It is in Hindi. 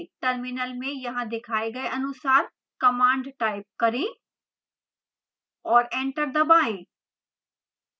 terminal में यहाँ दिखाए गए अनुसार command type करें और एंटर दबाएं